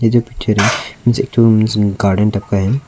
जो पिक्चर है garden type का है।